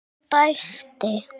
Hún dæsti.